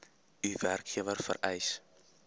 u werkgewer vereis